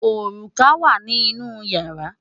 Òrùka wà ní inú ìyàrá.